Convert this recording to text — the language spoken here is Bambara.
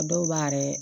A dɔw b'a yɛrɛ